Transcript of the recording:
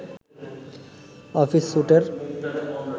office স্যুটের